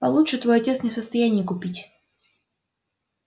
получше твой отец не в состоянии купить